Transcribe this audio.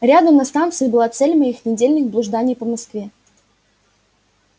рядом на станции была цель моих недельных блужданий по москве